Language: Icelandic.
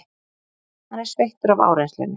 Hann er sveittur af áreynslunni.